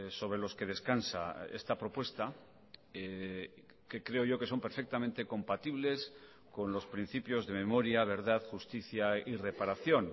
sobre los que descansa esta propuesta que creo yo que son perfectamente compatibles con los principios de memoria verdad justicia y reparación